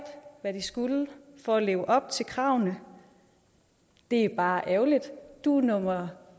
hvad de skulle for at leve op til kravene det er bare ærgerligt du er nummer